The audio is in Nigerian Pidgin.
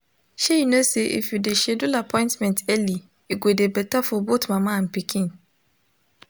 shey you know say if you de schedule appointment early e go de better for both mama and pikin